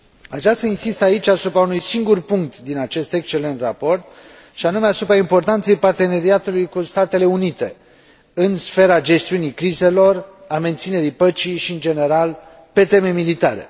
Aș vrea să insist aici asupra unui singur punct din acest excelent raport, și anume asupra importanței parteneriatului cu Statele Unite în sfera gestiunii crizelor, a menținerii păcii și, în general, pe teme militare.